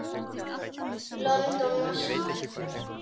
London, Moskvu.